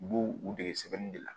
U b'u u dege sɛbɛnni de la